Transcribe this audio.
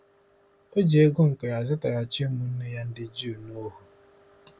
O ji ego nke ya zụtaghachi ụmụnne ya ndị Juu n'ohu.